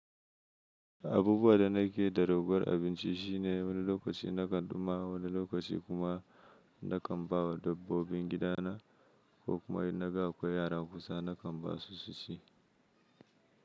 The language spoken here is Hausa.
Abubuwan da na ke da ragowar abinci shine wani lokaci na kan ɗumama, wani lokaci kuma na kan ba wa dabbobin gidana, ko kuma in na ga akwai yara kusa na kan ba su su ci.